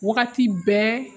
Wagati bɛɛ